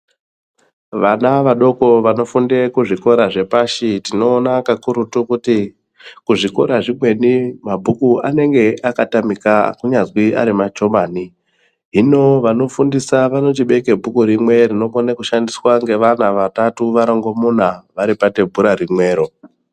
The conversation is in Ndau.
Vana vadoko vanofunde kuzvikora zvepashi tinoona kakurutu kuti kuzvikora zvimweni mabhuku anenge akatamika kunyazwi ari machobani hino vanofundisa vanochibeke bhuku rimwe rinokwanisa kushandiswa ngevana vatatu varongomuna vari pathebhura rimwero.